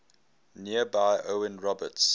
nearby owen roberts